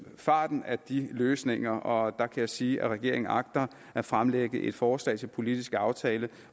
farten af de løsninger og der kan jeg sige at regeringen agter at fremlægge et forslag til politisk aftale